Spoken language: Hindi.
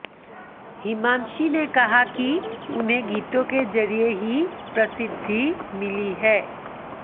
हिमांशी ने कहा कि उन्हें गीतों के जरिए ही प्रसिद्धी मिली है